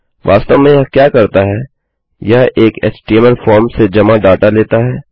वास्तव में यह क्या करता है यह एक एचटीएमएल फॉर्म से जमा डाटा लेता है